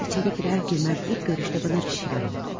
Qız içəri girən kimi ilk görüşdə mənə bir şeylər oldu.